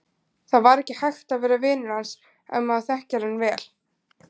Það var ekki hægt að vera vinur hans ef maður þekkir hann vel.